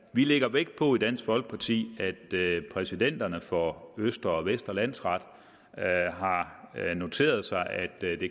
vi lægger vægt på i dansk folkeparti at præsidenterne for østre og vestre landsret har noteret sig at